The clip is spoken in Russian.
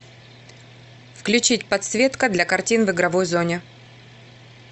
включить подсветка для картин в игровой зоне